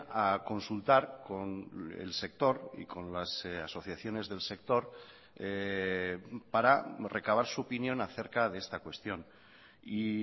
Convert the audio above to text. a consultar con el sector y con las asociaciones del sector para recabar su opinión acerca de esta cuestión y